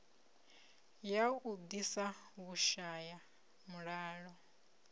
ya u ḓisa vhushaya mulalo